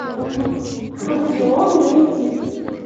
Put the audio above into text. вавилон найди